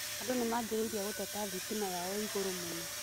Andũ nĩmanjririe gũteta thitima yao ĩ igũrũ mũno.